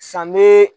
San be